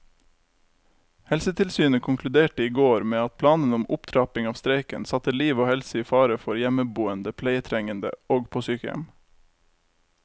Helsetilsynet konkluderte i går med at planene om opptrapping av streiken satte liv og helse i fare for hjemmeboende pleietrengende og på sykehjem.